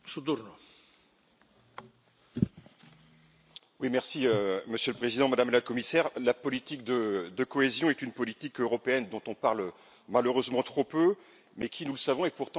Monsieur le Président, Madame la Commissaire, la politique de cohésion est une politique européenne dont on parle malheureusement trop peu mais qui, nous le savons, est pourtant essentielle pour nos territoires et qui incarne l'Europe de la proximité.